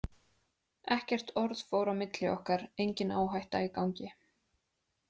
Ekkert orð fór á milli okkar, engin áhætta í gangi.